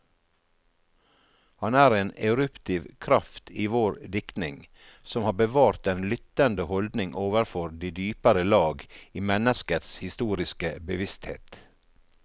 Han er en eruptiv kraft i vår diktning, som har bevart den lyttende holdning overfor de dypere lag i menneskets historiske bevissthet.